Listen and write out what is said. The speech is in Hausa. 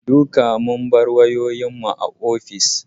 Duka sun bar wayoyin su a office